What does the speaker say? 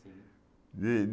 De